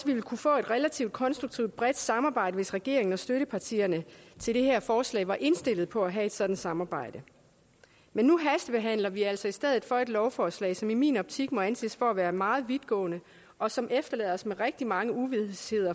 ville kunne få et relativt konstruktivt bredt samarbejde hvis regeringen og støttepartierne til det her forslag var indstillet på at have et sådant samarbejde men nu hastebehandler vi altså i stedet for et lovforslag som i min optik må anses for at være meget vidtgående og som efterlader os med rigtig meget uvished